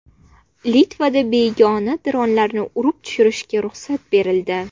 Litvada begona dronlarni urib tushirishga ruxsat berildi.